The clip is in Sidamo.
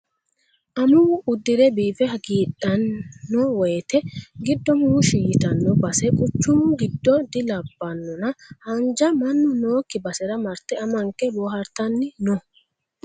Amuwu uddire biife hagiidhano woyte giddo muushi ytano base quchumu giddo dilabbanonna haanja mannu nookki basera marte amanke boohartanni no.